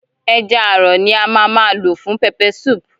Ẹja àrọ̀ ni a má a má lò fún peppersoup.